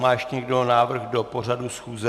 Má ještě někdo návrh do pořadu schůze?